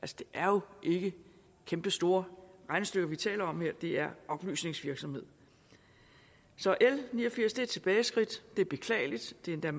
det er jo ikke kæmpestore regnestykker vi taler om her det er oplysningsvirksomhed så l ni og firs er et tilbageskridt og det er beklageligt det er